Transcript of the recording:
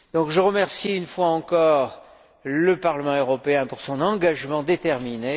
Je remercie une fois encore le Parlement européen pour son engagement déterminé.